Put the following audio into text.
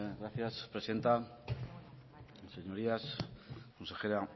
gracias presidenta señorías consejera